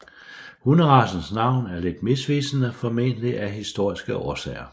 Hunderacens navn er lidt misvisende formentlig af historiske årsager